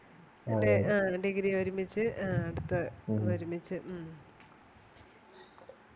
ആ Degree ഒരുമിച്ച് ആ ഇപ്പൊ ഒരുമിച്ച് ഉം